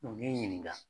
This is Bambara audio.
n ye n ɲininka